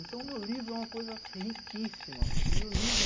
Então, o meu livro é uma coisa riquíssima, porque o meu livro...